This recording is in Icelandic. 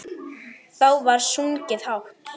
Þá var sungið hátt.